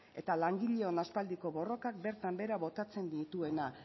eta langileon aspaldiko borrokak bertan behera botatzen dituena